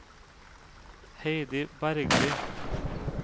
Heidi Bergli